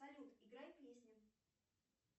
салют играй песню